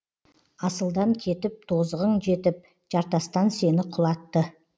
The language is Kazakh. асылдан кетіп тозығың жетіп жартастан сені құлатты